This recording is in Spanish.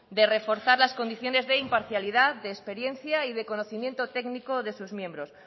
de reforzar las condiciones de imparcialidad de experiencia y de conocimiento técnico de sus miembros